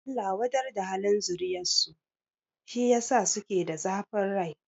Allah wadar da halin zuriyar su, shi yasa suke da zafin rai